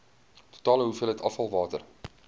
totale hoeveelheid afvalwater